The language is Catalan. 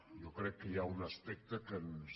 jo crec que hi ha un aspecte que ens